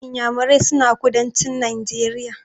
Inyamurai suna kudancin Najeriya.